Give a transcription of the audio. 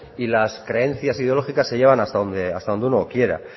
y las creencias ideológicas se llevan hasta donde uno quiera